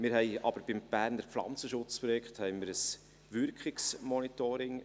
Wir haben aber beim Berner Pflanzenschutzprojekt ein Wirkungsmonitoring;